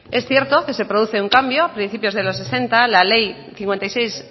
es cierto que se produce un cambio a principios de los sesenta la ley cincuenta y seis